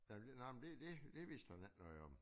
Nå men det nå men det det vidste han ikke noget om